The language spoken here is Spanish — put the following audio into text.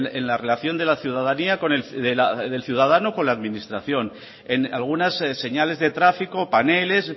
en la relación con el ciudadano con la administración en algunas señales de tráfico paneles